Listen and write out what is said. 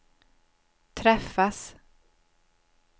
träffas